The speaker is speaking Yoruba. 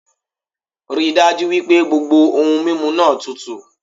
Ríi dájú wípé gbogbo ohun mímu náà tutù